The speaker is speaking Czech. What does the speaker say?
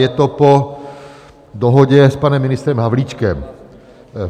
Je to po dohodě s panem ministrem Havlíčkem.